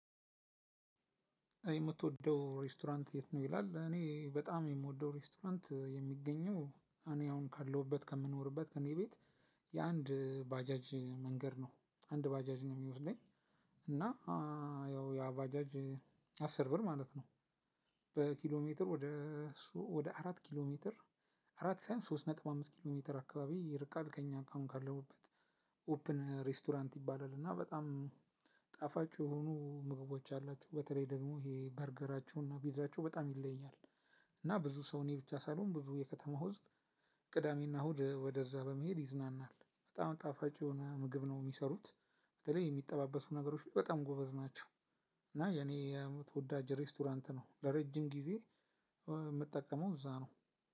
የምትወደው ሬስቶራንት የት ነው? ይላል እኔ በጣም የምወደው ሬስቶራንት የሚገኘው እኔ አሁን ካለሁበት ከምኖርበት ከእኔ ቤት። የአንድ ባጃጅ መንገድ ነው አንድ ባጃጅ ነው የሚወስደኝ እና ያው ያባጃጅ አስር ብር ማለት ነው። በኪሎ ሜትር ወደ ወደ አራት ኪሎ ሜትር አራት ሳይሆን ሶስት ነጥብ አምስት ኪሎሜትር አካባቢ ይርቃል ከእኛ አሁን ካለሁበት። ኦፕን ሬስቶራንት ይባላል እና በጣም ጣፋጭ የሆኑ ምግቦች አላቸው በተለይ ደግሞ ይሄ በርገራቸው እና ፒዛቸው በጣም ይለያል። እና ብዙ ሰው እኔ ብሻ ሳልሆን ብዙ የከተማው ህዝብ። ቅዳሜ እና እሁድ ወደዛ በመሄድ ይዝናናል በጣም ጣፋጭ የሆነ ምግብ ነው ሚሰሩት። በተለይ የሚጠባበሱ ነገሮች በጣም ጎበዝ ናቸው። እና የኔ የአመት ተወዳጅ ሬስቶራንት ነው ለረጅም ጊዜ የምጠቀመው እዛ ነው።